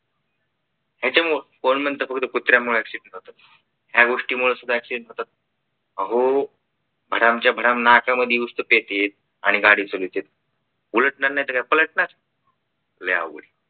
त्याच्यावर कोण म्हणतं फक्त कुत्र्यामुळं accident होत या गोष्टी सुद्धा accident होता अहो भडामच्या भडाम नाक्यामध्ये येतात आणि गाडी चालवतेत उलटणार नाहीतर काय पलटणार